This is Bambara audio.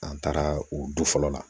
An taara o du fɔlɔ la